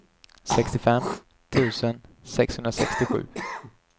sextiofem tusen sexhundrasextiosju